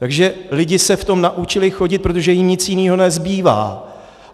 Takže lidé se v tom naučili chodit, protože jim nic jiného nezbývá.